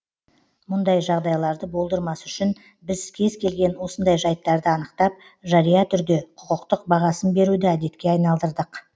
мұндай жағдайларды болдырмас үшін біз кез келген осындай жайттарды анықтап жария түрде құқықтық бағасын беруді әдетке айналдырдық